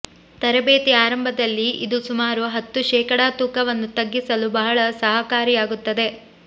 ತರಬೇತಿ ಆರಂಭದಲ್ಲಿ ಇದು ಸುಮಾರು ಹತ್ತು ಶೇಕಡಾ ತೂಕವನ್ನು ತಗ್ಗಿಸಲು ಬಹಳ ಸಹಕಾರಿಯಾಗುತ್ತದೆ